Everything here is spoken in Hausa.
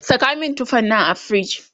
Saka min tufan nan a fridge!